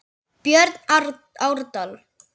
Björn Árdal.